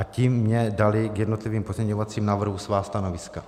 A ti mně dali k jednotlivým pozměňovacím návrhům svá stanoviska.